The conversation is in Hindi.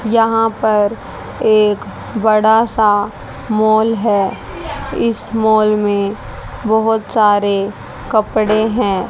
यहां पर एक बड़ा सा मॉल है इस मॉल में बहुत सारे कपड़े हैं।